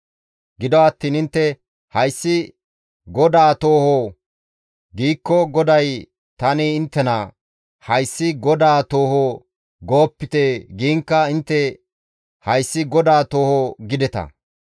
Gido attiin intte, ‹Hayssi GODAA tooho› giikko, GODAY tani inttena, ‹Hayssi GODAA tooho› goopite giinkka intte, ‹Hayssi GODAA tooho› gideta.